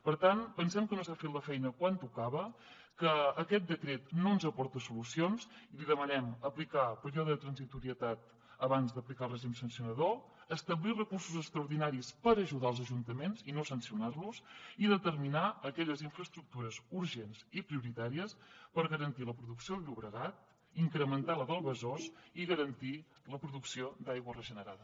per tant pensem que no s’ha fet la feina quan tocava que aquest decret no ens aporta solucions i li demanem aplicar període de transitorietat abans d’aplicar el règim sancionador establir recursos extraordinaris per ajudar als ajuntaments i no sancionar los i determinar aquelles infraestructures urgents i prioritàries per garantir la producció del llobregat incrementar la del besòs i garantir la producció d’aigua regenerada